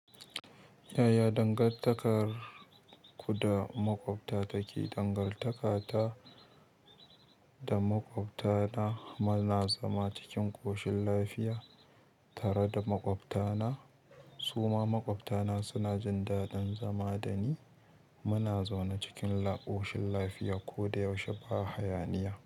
Yaya dangantakarku da maƙwabta take? Dangantaka ta da maƙwabta na muna zama cikin ƙoshin lafiya tare da maƙwabta na. Su ma maƙwabta na suna jin daɗin zama da ni. Muna zaune cikin ƙoshin lafiya ko da yaushe ba haya niya.